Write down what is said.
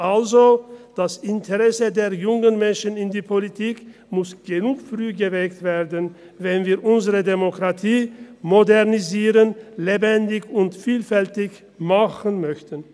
Also, das Interesse der jungen Menschen in die Politik muss genug früh geweckt werden, wenn wir unsere Demokratie modernisieren, lebendig und vielfältig machen möchten.